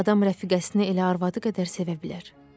Adam rəfiqəsinə elə arvadı qədər sevə bilər.